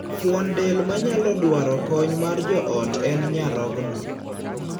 Fuon del ma nyalo dwaro kony mar joot en nyarogno.